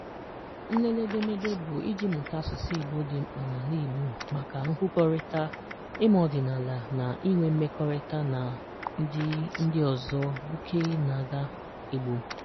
Nlele edemede bụ iji mụta asụsụ Igbo dị mkpa n’ala Igbo maka nkwukọrita, ịma ọdịnala, na inwe mmekọrịta na ndị ndị ọzọ bụkee na-aga Igbo.